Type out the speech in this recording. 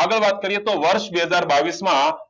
આગળ વાત કરીયે તો વર્ષ બે હજાર બાવીસ માં